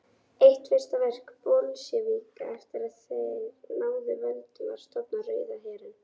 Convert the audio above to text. Eitt fyrsta verk Bolsévíka eftir að þeir náðu völdum var að stofna Rauða herinn.